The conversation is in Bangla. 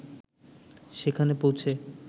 সেখানে পৌঁছে